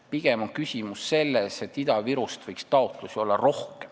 Pigem on küsimus selles, et Ida-Virust võiks rohkem taotlusi olla.